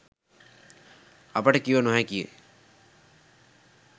අපට කිව නොහැකිය.